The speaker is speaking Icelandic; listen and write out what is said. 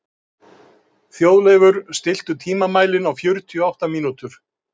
Þjóðleifur, stilltu tímamælinn á fjörutíu og átta mínútur.